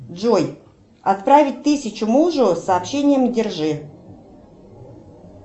джой отправить тысячу мужу с сообщением держи